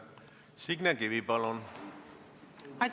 Signe Kivi, palun!